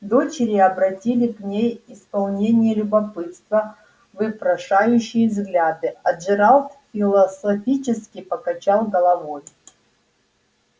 дочери обратили к ней исполненные любопытства ввпрошающие взгляды а джералд философически покачал головой